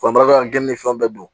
ka geni fɛn bɛɛ dun